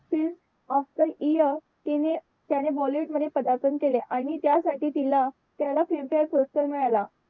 film of the year तिने त्याने bollywood मध्ये पदार्पण केले आणि त्यासाठी तिला त्याला film faire पुरस्कार मिळाला.